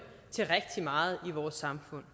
til rigtig meget i vores samfund